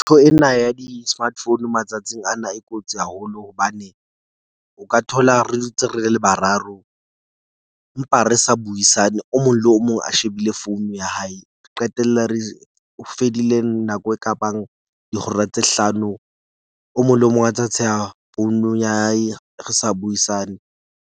Ntho ena ya di-smart phone matsatsing ana, e kotsi haholo. Hobane o ka thola re dutse re le bararo empa re sa buisane. O mong le o mong a shebile founu ya hae. Re qetella re fedile nako e kabang dihora tse hlano. O mong le o mong a ntsa tsheha founu ya hae, re sa buisane.